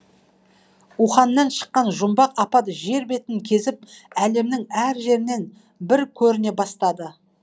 уханнан шыққан жұмбақ апат жер бетін кезіп әлемнің әр жерінен бір көріне бастады